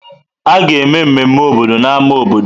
A ga-eme mmemme obodo na ámá obodo.